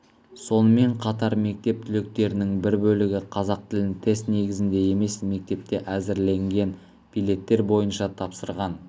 сонымен қатар мектеп түлектерінің бір бөлігі қазақ тілін тест негізінде емес мектепте әзірленген билеттер бойынша тапсырған